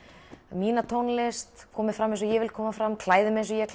mína tónlist komið fram eins og ég vil koma fram klæði mig eins og ég